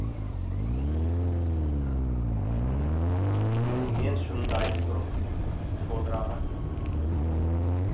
мен шынымды айтып тұрмын шодыр аға